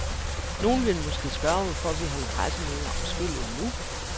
Nogen vil måske spørge, hvorfor vi holder pressemøde om spillet nu.